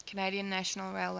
canadian national railway